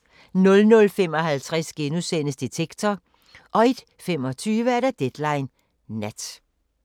00:55: Detektor * 01:25: Deadline Nat